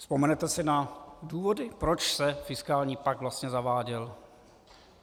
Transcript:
Vzpomenete si na důvody, proč se fiskální pakt vlastně zaváděl?